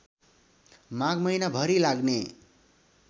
माघ महिनाभरि लाग्ने